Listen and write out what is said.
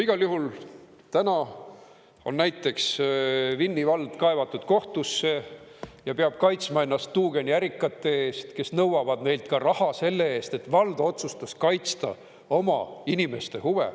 Igal juhul, täna on näiteks Vinni vald kaevatud kohtusse ja peab kaitsma ennast tuugeniärikate eest, kes nõuavad neilt raha selle eest, et vald otsustas kaitsta oma inimeste huve.